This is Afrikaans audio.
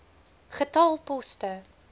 getal poste